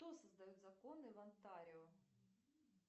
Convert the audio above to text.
кто создает законы в онтарио